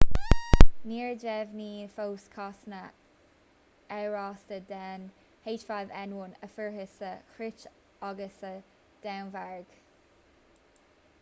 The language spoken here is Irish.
níor deimhníodh fós cásanna amhrasta den h5n1 a fuarthas sa chróit agus sa danmhairg